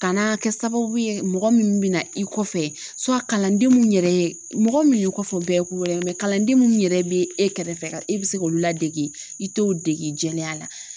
Ka na kɛ sababu ye mɔgɔ minnu bɛ na i kɔfɛ kalanden minnu yɛrɛ , mɔgɔ min y'i kɔfɛ u bɛɛ ye ko wɛrɛ ye mɛ kalanden minnu yɛrɛ bɛ e kɛrɛfɛ ka e bɛ se k'olu ladege i t'o dege jɛlenya la